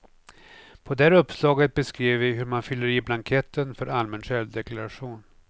På det här uppslaget beskriver vi hur man fyller i blanketten för allmän självdeklaration.